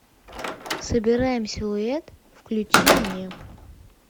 собираем силуэт включи мне